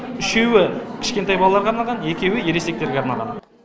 үшеуі кішкентай балаларға арналған екеуі ересектерге арналған